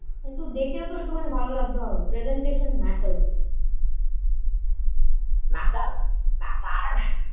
একটু দেখেও তো একটুখানি ভালো লাগতে হবে। presentation matters matters matter.